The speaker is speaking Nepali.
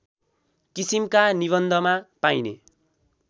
किसिमका निबन्धमा पाइने